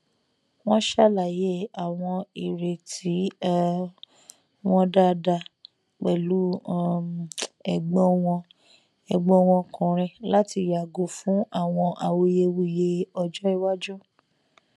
wọn ṣàlàyé àwọn ìrètí um wọn dáadáa pẹlú um ẹgbọn wọn ẹgbọn wọn ọkùnrin láti yàgò fún àwọn awuyewuye ọjọ iwájú